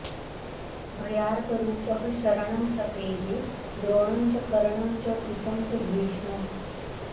भयार्तरूपः शरणं प्रपेदे द्रोणं च कर्णं च कृपं च भीष्मम्